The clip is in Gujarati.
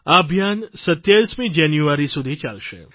આ અભિયાન 27મી જાન્યુઆરી સુધી ચાલશે